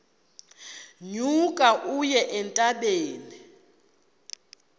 nyuka uye entabeni